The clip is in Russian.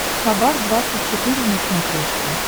хабар двадцать четыре на смотрешке